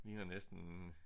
Ligner næsten